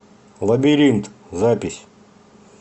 лабиринт запись